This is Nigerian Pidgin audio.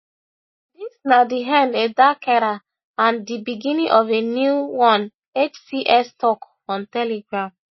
dis na di end a dark era and di beginning of a new one hts tok on telegram